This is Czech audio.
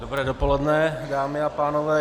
Dobré dopoledne, dámy a pánové.